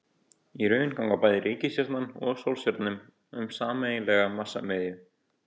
Í raun ganga bæði reikistjarnan og sólstjarnan um sameiginlega massamiðju.